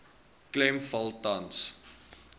klem val tans